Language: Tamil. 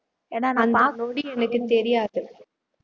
அந்த நொடி எனக்கு தெரியாது